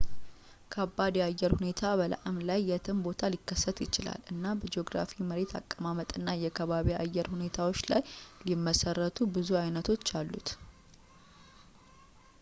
ከባድ የአየር ሁኔታ በላእም ላይ የትም ቦታ ሊከሰት ይችላል እና በጂኦግራፊ መሬት አቀማመጥና የከባቢ አየር ሁኔታዎችን ላይ ሊመሰረቱ ብዙ አይነቶች አሉት